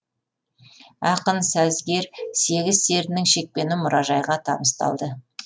ақын сазгер сегіз серінің шекпені мұражайға табысталды